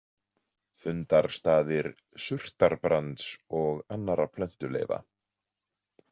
„Fundarstaðir surtarbrands og annarra plöntuleifa“.